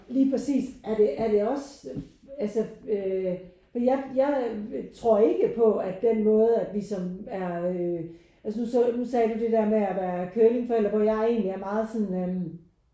Lige præcist er det er det os altså øh for jeg jeg tror ikke på at den måde at vi som er øh altså nu sagde du det der med at være curlingforældre hvor jeg egentlig er sådan øh